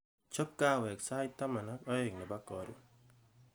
chob kahawek sait taman ak aen nebo karon